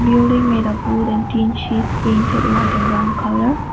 building made a wood and tin sheet painted white and brown colour